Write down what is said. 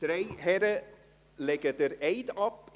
Die drei Herren legen den Eid ab.